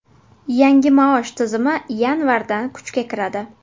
Yangi maosh tizimi yanvardan kuchga kiradi.